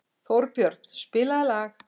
Þórbjörn, spilaðu lag.